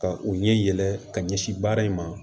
Ka u ɲɛ yɛlɛ ka ɲɛsin baara in ma